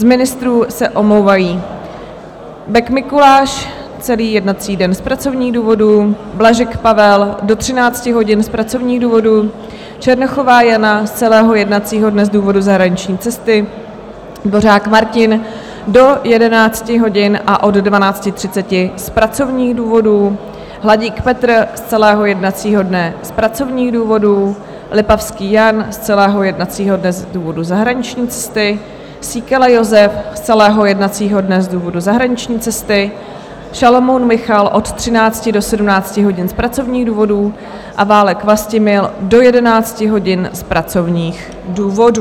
Z ministrů se omlouvají: Bek Mikuláš - celý jednací den z pracovních důvodů, Blažek Pavel do 13 hodin z pracovních důvodů, Černochová Jana z celého jednacího dne z důvodu zahraniční cesty, Dvořák Martin do 11 hodin a od 12.30 z pracovních důvodů, Hladík Petr z celého jednacího dne z pracovních důvodů, Lipavský Jan z celého jednacího dne z důvodu zahraniční cesty, Síkela Jozef z celého jednacího dne z důvodu zahraniční cesty, Šalomoun Michal od 13 do 17 hodin z pracovních důvodů a Válek Vlastimil do 11 hodin z pracovních důvodů.